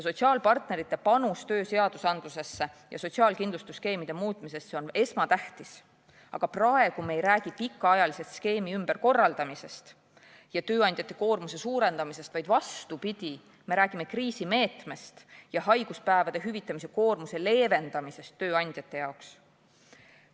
Sotsiaalpartnerite panus tööseadusandlusesse ja sotsiaalkindlustusskeemide muutmisesse on esmatähtis, aga praegu me ei räägi pikaajalisest skeemi ümberkorraldamisest ja tööandjate koormuse suurendamisest, vaid vastupidi, me räägime kriisimeetmest ja haiguspäevade hüvitamise koormuse leevendamisest tööandjate jaoks.